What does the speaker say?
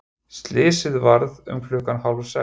Slysið varð um klukkan hálfsex.